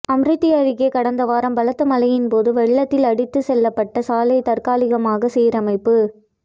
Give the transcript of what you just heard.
அமிர்தி அருகே கடந்த வாரம் பலத்த மழையின்போது வெள்ளத்தில் அடித்துச்செல்லப்பட்ட சாலை தற்காலிகமாக சீரமைப்பு